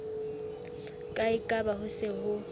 ka ekaba ho se ho